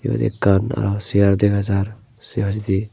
eyot ekkan arow segar dega jaar se hai idi.